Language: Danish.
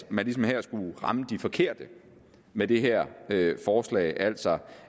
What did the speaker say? at man ligesom ville ramme de forkerte med det her forslag altså